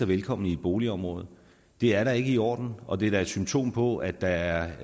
velkommen i et boligområde det er da ikke i orden og det er da et symptom på at der er